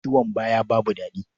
Ciwon baya babu daɗi.